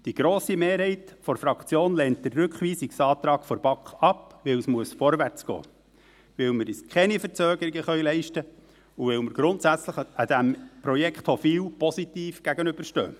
Die grosse Mehrheit der Fraktion lehnt den Rückweisungsantrag der BaK ab, weil es vorwärtsgehen muss, weil wir uns keine Verzögerungen leisten können, und weil wir dem Projekt Hofwil grundsätzlich positiv gegenüberstehen.